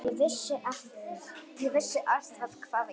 Ég vissi alltaf hvað ég gæti.